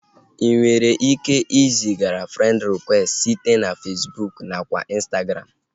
Inwere ike iziga frend rịkwesti site na Fesbụụk nakwa Ịnstagram